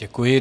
Děkuji.